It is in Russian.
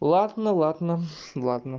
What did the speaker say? ладно ладно ладно